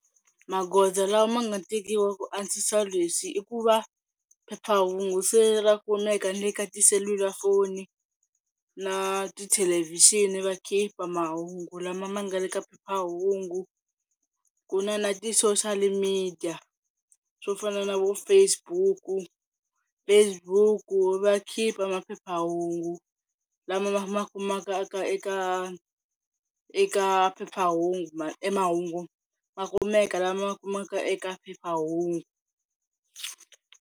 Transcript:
Magoza lama ma nga tekiwa ku antswisa leswi i ku va phephahungu se ra kumeka na le ka tiselulafoni na tithelevhixini va khipha mahungu lama ma nga le ka phephahungu. Ku na na ti social media swo fana na vo Facebook, Facebook va khipha maphephahungu lama ma ma kumaka eka eka phephahungu, emahungu makumeka lama kumaka eka phephahungu.